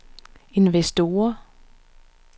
investorer